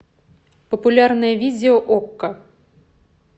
популярное видео окко